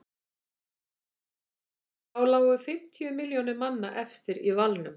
þá lágu fimmtíu milljónir manna eftir í valnum